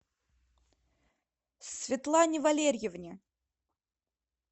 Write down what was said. светлане валерьевне